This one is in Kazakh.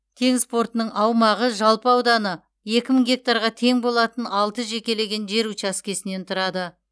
теңіз портының аумағы жалпы ауданы екі мың гектарға тең болатын алты жекелеген жер учаскесінен тұрады